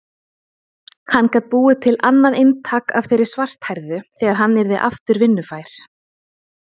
Hann gat búið til annað eintak af þeirri svarthærðu þegar hann yrði aftur vinnufær.